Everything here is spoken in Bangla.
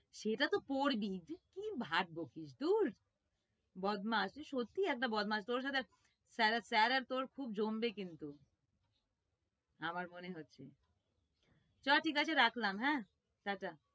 সেটা তো পড়বি, কি ভাট বকিস, দূর বদমাস তুই সত্যিই একটা বদমাস, তোর সাথে sir আর তোর খুব জমবে কিন্তু আমার মনে হচ্ছে, চল ঠিক আছে রাখলাম হ্যাঁ, টাটা।